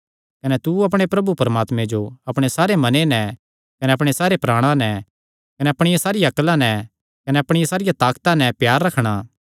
कने तू अपणे प्रभु परमात्मे जो अपणे सारे मने नैं कने अपणे सारे प्राणा नैं कने अपणिया सारिया अक्ला नैं कने अपणिया सारिया ताकता नैं प्यार रखणा